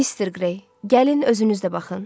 Mr. Grey, gəlin özünüz də baxın.